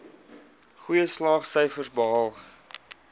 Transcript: goeie slaagsyfers behaal